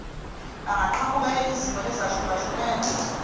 angaqhamuka eyizimo ezehlukahlukene